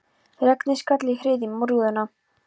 Regnið skall í hryðjum á rúðuna.